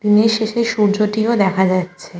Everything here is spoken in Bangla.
দিনের শেষে সূর্য টি ও দেখা যাচ্ছে।